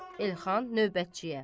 Elxan növbətçiyə.